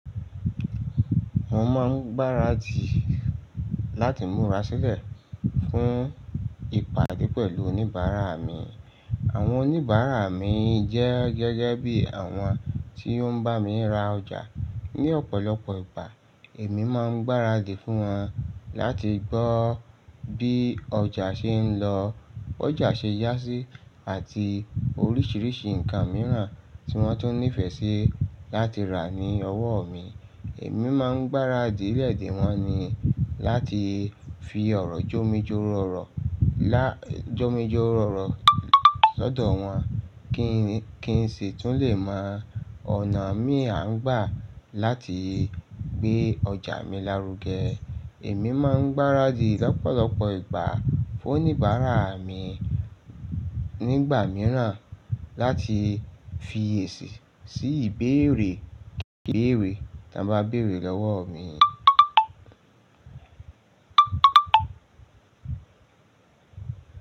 Mo máa ń gbáradì láti múra sílẹ̀ fún ìpàdé pẹ̀lú oníbàárà mi. Àwọn oníbàárà mi jẹ́ gẹ́gẹ́ bí àwọn tí ó ń bá mi ra ọjà. Ni ọ̀pọ̀lọpọ̀ ìgbà, èmi máa ń gbáradì fún wọn láti gbọ́ bí ọjà ṣe ń lọ, b'ọjà ṣe yá sí, àti oríṣiríṣi nǹkan mìíràn tí wọ́n tó nífẹ̀ẹ́ sí láti rà ní ọwọ́ mi. Èmi máa ń gbáradì lẹ́ẹ̀ dèwọn ni láti fi ọ̀rọ̀ jómitọrọ̀ oro lọ́dọ̀ wọn kí n sì tún lè mọ ọ̀nà mí à ń gbà láti gbé ọjà mi lárugẹ. Èmi máa ń gbáradì lọ́pọ̀lọpọ̀ ìgbà fún oníbàárà mi nígbà mìíràn láti fi èsì sí ìbéèrè kibèèré tí wọ́n bá béèrè lọ́wọ́ mi.